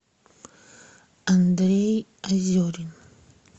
андрей озерин